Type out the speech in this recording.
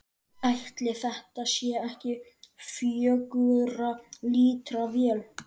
Ætli þetta sé ekki fjögurra lítra vél?